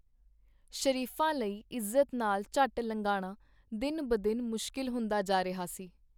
ਸ਼ਰੀਫਾਂ ਲਈ ਇਜ਼ਤ ਨਾਲ ਝੱਟ ਲੰਘਾਣਾ ਦਿਨ-ਬਦਿਨ ਮੁਸ਼ਕਿਲ ਹੁੰਦਾ ਜਾ ਰਿਹਾ ਸੀ.